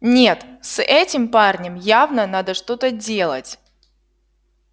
нет с этим парнем явно надо что-то делать